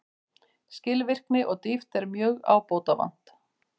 Skilvirkni og dýpt er mjög ábótavant